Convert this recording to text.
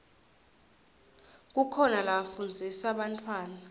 kukhona lafundzisa bantfwana